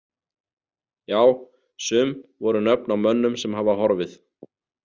Já, sum voru nöfn á mönnum sem hafa horfið.